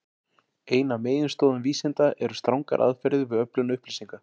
Ein af meginstoðum vísinda eru strangar aðferðir við öflun upplýsinga.